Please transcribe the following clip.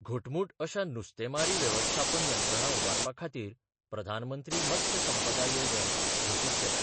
घटमूट अशा नुस्तेमारी वेवस्थापन यंत्रणा उबारपा खातीर प्रधानमंत्री मत्स्य संपदा 'येवजण घोशीत केल्या.